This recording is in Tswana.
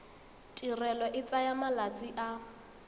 tirelo e tsaya malatsi a